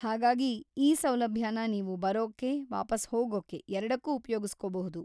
ಹಾಗಾಗಿ ಈ ಸೌಲಭ್ಯನ ನೀವು ಬರೋಕ್ಕೆ‌, ವಾಪಸ್ ಹೋಗೋಕ್ಕೆ ಎರ್ಡಕ್ಕೂ ಉಪಯೋಗಿಸ್ಕೋಬಹುದು.